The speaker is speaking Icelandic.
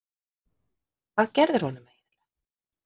Hvað gerðirðu honum eiginlega?